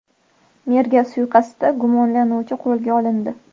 Merga suiqasdda gumonlanuvchi qo‘lga olindi.